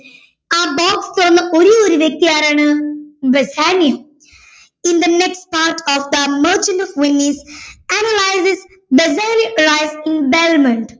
ആ box തുറന്ന ഒരേ ഒരു വ്യക്തി ആരാണ് Bassanio in the next part of the merchant of venice analyses the bessanio's life in belmond